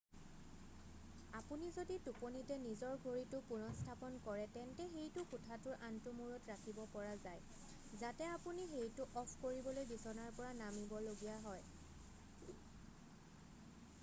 আপুনি যদি টোপনিতে নিজৰ ঘড়ীটো পুনঃস্থাপন কৰে তেন্তে সেইটো কোঠাটোৰ আনটো মূৰত ৰাখিব পৰা যায় যাতে আপুনি সেইটো অফ কৰিবলৈ বিচনাৰ পৰা নামিব লগীয়া হয়